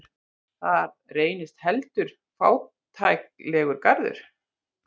Það reynist heldur fátæklegur garður.